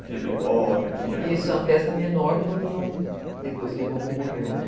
Tinha pipoca, tinha... Isso é uma festa menor quando não... Depois que vovô morreu, né?